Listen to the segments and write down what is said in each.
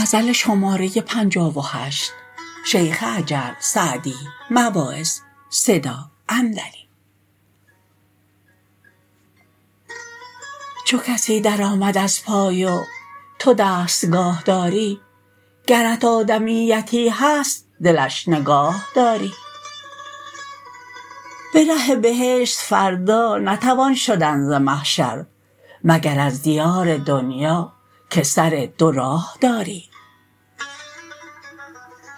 چو کسی در آمد از پای و تو دستگاه داری گرت آدمیتی هست دلش نگاه داری به ره بهشت فردا نتوان شدن ز محشر مگر از دیار دنیا که سر دو راه داری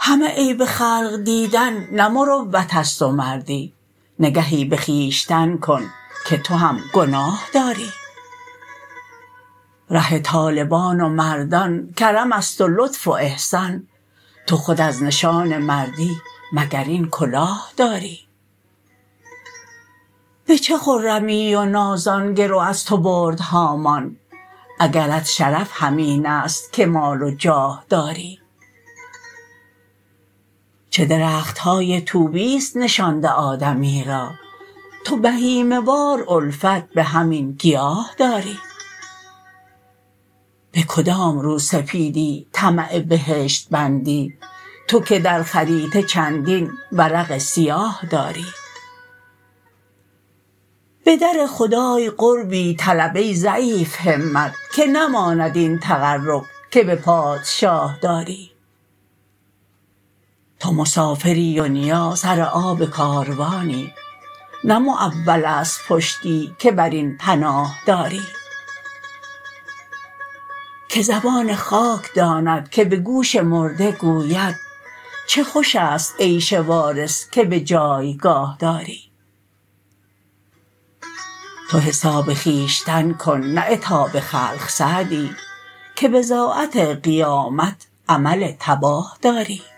همه عیب خلق دیدن نه مروت است و مردی نگهی به خویشتن کن که تو هم گناه داری ره طالبان و مردان کرم است و لطف و احسان تو خود از نشان مردی مگر این کلاه داری به چه خرمی و نازان گرو از تو برد هامان اگرت شرف همین است که مال و جاه داری چه درخت های طوبی ست نشانده آدمی را تو بهیمه وار الفت به همین گیاه داری به کدام روسپیدی طمع بهشت بندی تو که در خریطه چندین ورق سیاه داری به در خدای قربی طلب ای ضعیف همت که نماند این تقرب که به پادشاه داری تو مسافری و دنیا سر آب کاروانی نه معول است پشتی که بر این پناه داری که زبان خاک داند که به گوش مرده گوید چه خوش است عیش وارث که به جایگاه داری تو حساب خویشتن کن نه عتاب خلق سعدی که بضاعت قیامت عمل تباه داری